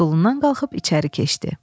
Stulundan qalxıb içəri keçdi.